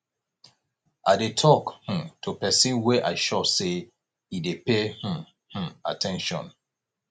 i dey tok um to pesin wey i sure sey e dey pay um um at ten tion